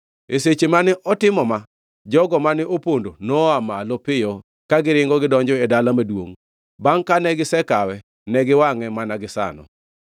E seche mane otimo ma, jogo mane opondo noa malo piyo ka giringo gidonjo e dala maduongʼ. Bangʼ kane gisekawe, ne giwangʼe mana gisano.